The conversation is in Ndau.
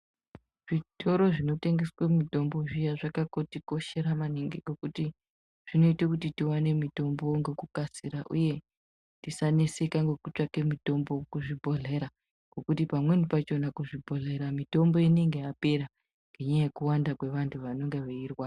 Zvitoro zvinotengeswe mitombo zviya zvakatikoshera maningi ngekuti zvinoita kuti tiwane mitombo ngekukasira uye tisaneseka ngekutsvake mitombo kuzvibhedhlera ngekuti pamweni pakhona kuzvibhedhlera mitombo inenge yapera ngenyaya yekuwanda kwevanthu vanonga veirwara.